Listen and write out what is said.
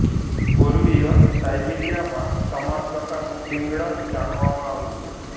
પૂર્વીય સાયબિરીયામાં સમાન પ્રકારનું પિગળણ જાણવામાં આવ્યુ છે